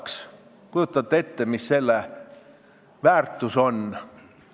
Kas te kujutate ette, mis selle väärtus on?